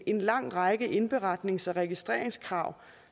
en lang række indberetnings og registreringskrav